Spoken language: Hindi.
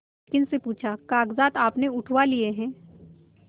मालकिन से पूछाकागजात आपने उठवा लिए हैं